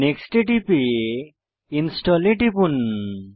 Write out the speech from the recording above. next এ টিপে install এ টিপুন